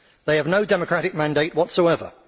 They have no democratic mandate whatsoever.